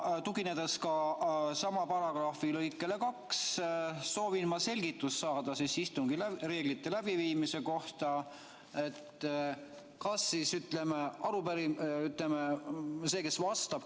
Tuginedes sama paragrahvi lõikele 2, soovin ma saada selgitust istungite läbiviimise reeglite kohta.